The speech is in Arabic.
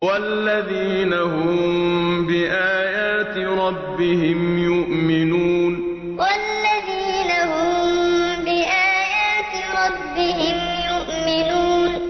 وَالَّذِينَ هُم بِآيَاتِ رَبِّهِمْ يُؤْمِنُونَ وَالَّذِينَ هُم بِآيَاتِ رَبِّهِمْ يُؤْمِنُونَ